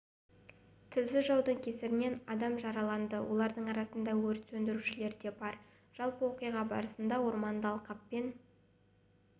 тілсіз жаудың кесірінен адам жараланды олардың арасында өрт сөндірушілер де бар жалпы оқиға барысында орманды алқаппен